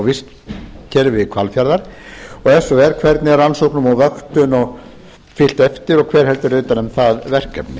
vistkerfi hvalfjarðar annað ef svo er hvernig er rannsóknum og vöktun fylgt eftir og hver heldur utan um það verkefni